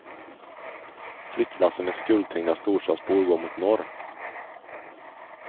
Flyttlassen med skuldtyngda storstadsbor går mot norr.